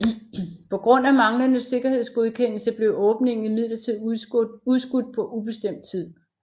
På grund af manglende sikkerhedsgodkendelse blev åbningen imidlertid udskudt på ubestemt tid